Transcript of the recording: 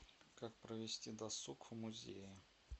как провести досуг в музее